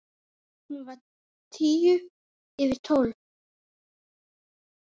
Hún var tíu yfir tólf.